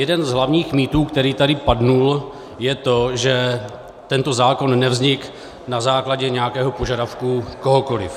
Jeden z hlavních mýtů, který tady padl, je to, že tento zákon nevznikl na základě nějakého požadavku kohokoliv.